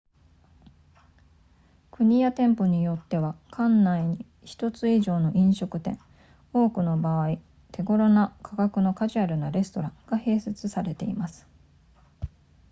国や店舗によっては館内に1つ以上の飲食店多くの場合手ごろな価格のカジュアルなレストランが併設されています